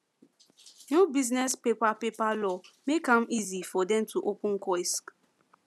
new business paper paper law make am easy for them to open kiosk